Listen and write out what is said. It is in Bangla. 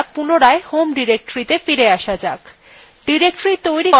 এবার cd commandএর দ্বারা পুনরায় home directoryত়ে ফিরে আসা যাক